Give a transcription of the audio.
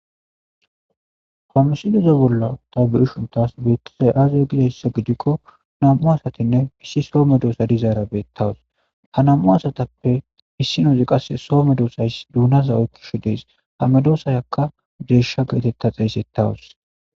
homusi deze bolla tabu7i shuntas beettazay aaza gizayssa gidikko nam7u asatinne hissi soo medoosa dizaara beettawas ha nam7u asatappe hissinozi qasse soo medoosays duunaza oykkisho dees ha medoosayakka deesha geetetta xeysettawas